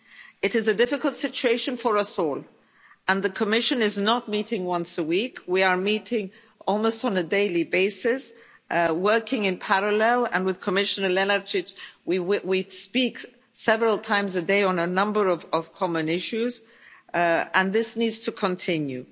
It is a difficult situation for us all and the Commission is not meeting once a week we are meeting almost on a daily basis, working in parallel and with Commissioner Lenarčič, we speak several times a day on a number of common issues, and this needs to continue.